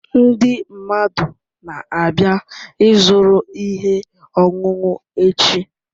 Ndị mmadụ na-abịa ịzụrụ ihe ọṅụṅụ echi